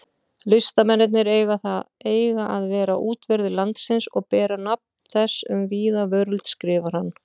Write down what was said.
Listamennirnir eiga að vera útverðir landsins og bera nafn þess um víða veröld, skrifar hann.